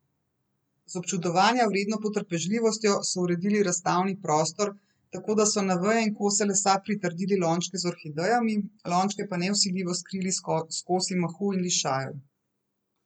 Z občudovanja vredno potrpežljivostjo so uredili razstavni prostor, tako da so na veje in kose lesa pritrdili lončke z orhidejami, lončke pa nevsiljivo skrili s kosi mahu in lišajev.